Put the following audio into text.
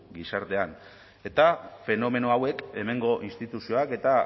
gizartean eta fenomeno hauek hemengo instituzioak eta